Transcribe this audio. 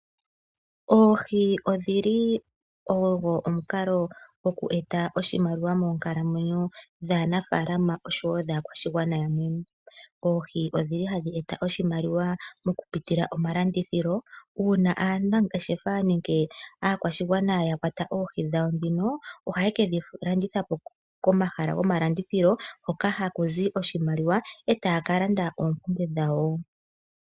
Oohi odhi li odho omukalo gokueta oshimaliwa moonkalamwenyo dhaanafalaama noshowo dhaakwashigwana yamwe. Oohi ohadhi eta oshimaliwa okupitila momalandithilo. Uuna aanangeshefa nenge aakwashigwana ya kwata oohi dhawo ohaye ke dhi landitha po komahala gomalandithilo hoka haku zi oshimaliwa e taya ka landa oompumbwe dhawo.